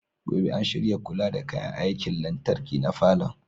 Gobe ​​an shirya kula da kayan aikin lantarki na falon.